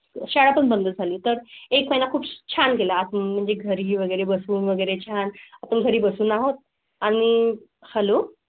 शाळा पण बंद झाले तर एक महिला खूप छान गेला म्हणजे घरी वगैरे बसून वगैरे छान तु घरी बसून आहोत आणि .